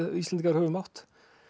Íslendingar höfum átt